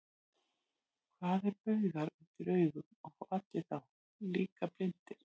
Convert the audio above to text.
Hvað eru baugar undir augum, og fá allir þá, líka blindir?